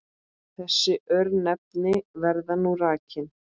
Þessi örnefni verða nú rakin